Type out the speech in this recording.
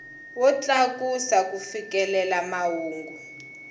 wo tlakusa ku fikelela mahungu